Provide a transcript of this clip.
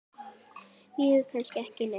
Bíður kannski ekki neitt?